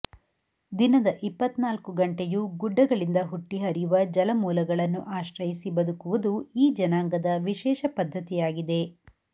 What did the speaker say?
ದಿನದ ಇಪ್ಪತ್ನಾಲ್ಕು ಗಂಟೆಯೂ ಗುಡ್ಡಗಳಿಂದ ಹುಟ್ಟಿ ಹರಿಯುವ ಜಲಮೂಲಗಳನ್ನು ಆಶ್ರಯಿಸಿ ಬದುಕುವುದು ಈ ಜನಾಂಗದ ವಿಶೇಷ ಪದ್ಧತಿಯಾಗಿದೆ